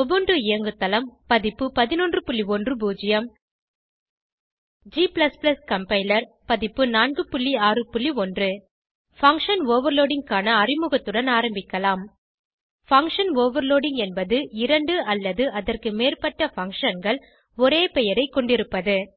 Ubuntu இயங்குதளம் பதிப்பு 1110 g compiler பதிப்பு 461 பங்ஷன் ஓவர்லோடிங் க்கான அறிமுகத்துடன் ஆரம்பிக்கலாம் பங்ஷன் ஓவர்லோடிங் என்பது இரண்டு அல்லது அதற்கு மேற்பட்ட functionகள் ஒரே பெயரைக் கொண்டிருப்பது